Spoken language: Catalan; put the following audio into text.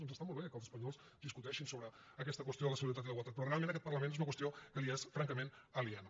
doncs està molt bé que els espanyols discuteixin sobre aquesta qüestió de la solidaritat i la igualtat però realment a aquest parlament és una qüestió que li és francament aliena